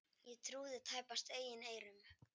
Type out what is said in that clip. Ég trúði tæpast eigin eyrum.